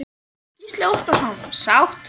Gísli Óskarsson: Sátt?